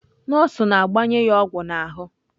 Nọọsụ na-gbanye ya ogwu na ahu.